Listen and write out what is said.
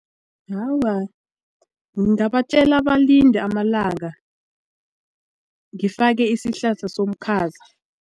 Awa, ngingabatjela balinde amalanga ngifake isihlahla somkhaza.